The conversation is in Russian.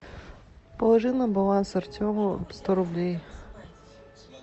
положи на баланс артему сто рублей